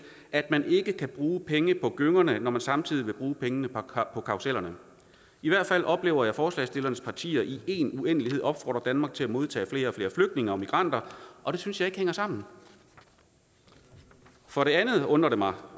at man ikke kan bruge penge på gyngerne når man samtidig vil bruge pengene på karussellerne i hvert fald oplever jeg forslagsstillernes partier i en uendelighed opfordre danmark til at modtage flere og flere flygtninge og migranter og det synes jeg ikke hænger sammen for det andet undrer det mig